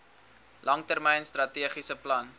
langtermyn strategiese plan